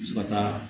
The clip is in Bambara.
Se ka taa